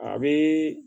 A bɛ